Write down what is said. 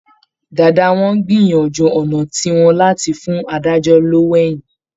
Dáadáa wọ́n á gbìyànjú ọ̀nà tiwọn láti fún adájọ́ lówó èyìn